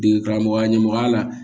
Dege karamɔgɔya ɲɛmɔgɔya la